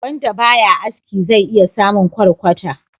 Wanda ba ya aski zai iya samun kwarkwata.